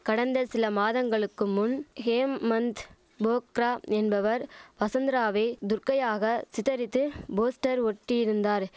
கடந்த சில மாதங்களுக்கு முன் ஹேம்மந்த் போக்ரா என்பவர் வசந்தராவை துர்கையாக சித்தரித்து போஸ்டர் ஒட்டியிருந்தார்